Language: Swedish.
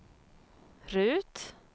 Rut